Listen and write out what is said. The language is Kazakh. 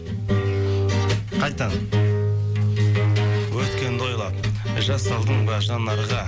қайтадан өткенді ойлап жас алдыңба жанарға